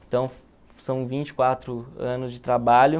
Então, são vinte e quatro anos de trabalho.